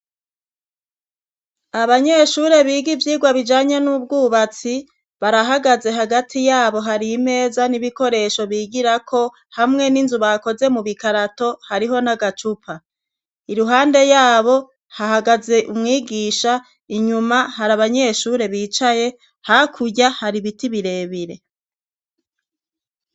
Abanyeshure biga ivyigwa bijanye n'ubwubatsi barahagaze hagati yabo hari imeza n'ibikoresho bigirako hamwe n'inzu bakoze mu bikarato hariho n'agacupa, iruhande yabo hahagaze umwigisha, inyuma hari abanyeshure bicaye, hakurya hari ibiti birebire.